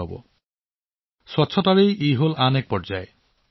এইটো পৰিষ্কাৰ পৰিচ্ছন্নতাৰ পৰৱৰ্তী পৰ্যায়